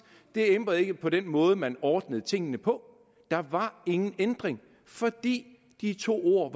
det ændrede ikke på den måde man ordnede tingene på der var ingen ændring fordi de to ord